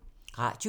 Radio 4